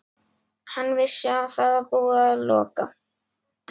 Hann vissi að það var búið að loka